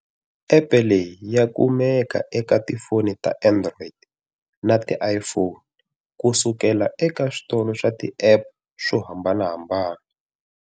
Epe leyi ya kumeka eka ti foni ta Android na ti iPhone ku suka eka switolo swa ti-App swo hambanahambana.